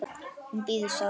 Hún bíður, sagði